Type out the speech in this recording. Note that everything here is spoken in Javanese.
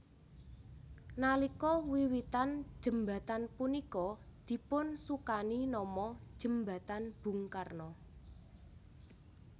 Nalika wiwitan jembatan punika dipun sukani nama Jembatan Bung Karno